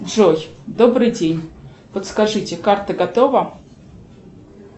джой добрый день подскажите карта готова